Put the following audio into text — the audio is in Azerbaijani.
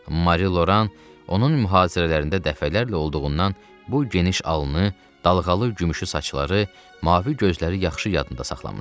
Mari Loran onun mühazirələrində dəfələrlə olduğundan bu geniş alnı, dalğalı gümüşü saçları, mavi gözləri yaxşı yadında saxlamışdı.